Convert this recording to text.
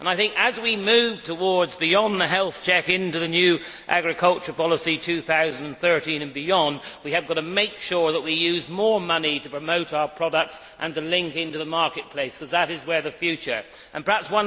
I think, as we move beyond the Health Check into the new agriculture policy in 2013 and beyond, we have got to make sure that we use more money to promote our products and to link into the marketplace, because that is where the future lies.